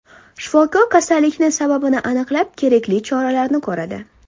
Shifokor kasallikning sababini aniqlab, kerakli choralarni ko‘radi.